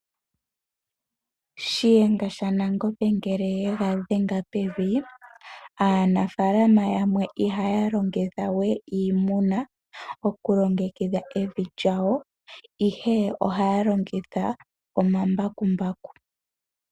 Shiyenga shaNangombe ngele yega dhenge pevi, aanafalama yamwe ihaya longitha we iimuna okulongekidha evi lyawo ihe oha longitha omambakumbaku.